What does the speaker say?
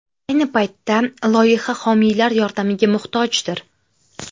Ayni paytda loyiha homiylar yordamiga muhtojdir.